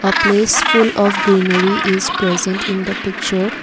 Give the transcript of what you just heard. A place full of greenery is present in the picture.